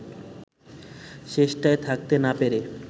শেষটায় থাকতে না পেরে